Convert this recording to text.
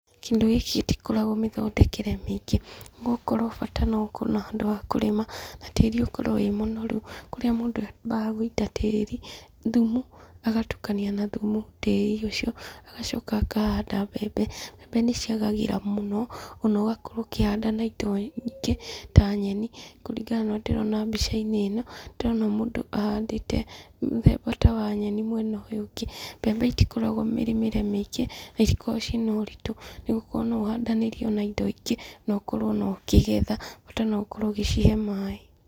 Kĩndũ gĩkĩ gĩtikoragwo mĩthondekere mĩingĩ, no gũkorwo bata wĩna handũ ha kũrĩma na tĩri ũkorwo wĩ mũnoru, kũrĩa mũndũ abaga gũita tĩri, thũmũ agatukania na thũmũ tĩri ũcio, agacoka akahanda mbembe, mbembe nĩ ciagagĩra mũno na ũgakorwo ũkĩhanda na indo ingĩ ta nyeni, kũringana na ũrĩa ndĩrona mbica-inĩ ĩno, ndĩrona mũndũ ahandĩte mũthemba ta wa nyeni mwena ũyũ ũngĩ, mbembe itikoragwo mĩrĩmĩre mĩingĩ, na itikoragwo cina ũritũ nĩgũkorwo no ihandanĩrio na indo ingĩ , na ũkorwo ona ũkĩgetha bata no gũkorwo ũgĩcihe maaĩ.